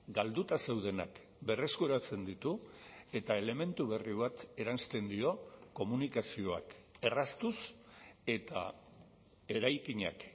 galduta zeudenak berreskuratzen ditu eta elementu berri bat eransten dio komunikazioak erraztuz eta eraikinak